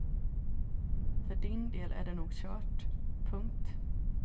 För din del är det nog kört. punkt